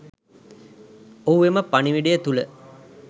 ඔහු එම පණිවිඩය තුල